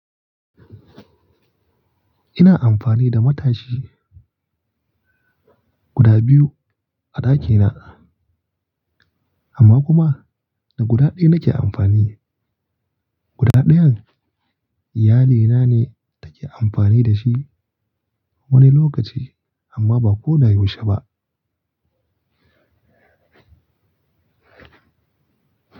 Ina amfani da matashi guda biyu a ɗakina amma kuma da guda ɗaya nake amfani. Guda ɗayan iyalina ne take amfani da shi wani lokaci amma ba ko da yaushe ba.